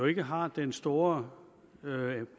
ikke har den store